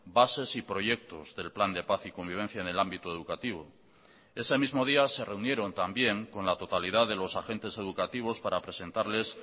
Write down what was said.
bases y proyectos del plan de paz y convivencia en el ámbito educativo ese mismo día se reunieron también con la totalidad de los agentes educativos para presentarles